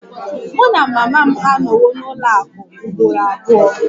Mụ na mama m anọwo n'ụlọ akụ ugboro abụọ